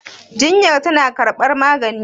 jinyar tana karbar maganin?